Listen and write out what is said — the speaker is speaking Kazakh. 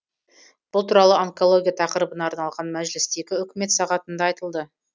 бұл туралы онкология тақырыбына арналған мәжілістегі үкімет сағатында айтылды